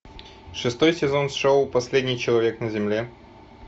шестой сезон шоу последний человек на земле